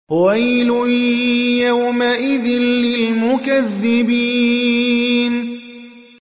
وَيْلٌ يَوْمَئِذٍ لِّلْمُكَذِّبِينَ